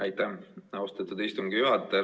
Aitäh, austatud istungi juhataja!